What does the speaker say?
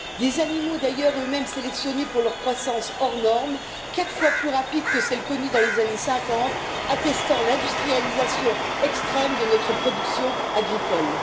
Ces animaux, d'ailleurs eux mêmes sélectionnés pour leur croissance hors norme, quatre fois plus rapide que celle connue dans les années 50, attestent l'industrialisation extrême de notre production agricole.